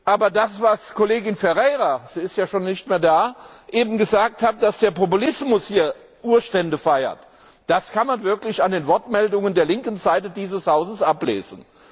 Aber das, was Kollegin Ferreira sie ist ja schon nicht mehr da eben gesagt hat, dass der Populismus hier Urstände feiert, das kann man wirklich an den Wortmeldungen der linken Seite dieses Hauses sehen.